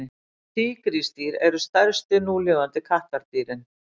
tígrisdýr eru stærstu núlifandi kattardýrin